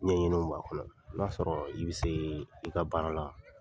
Ɲɛɲiniw b'a kɔnɔ. i b'a sɔrɔ i bɛ se i ka baara la,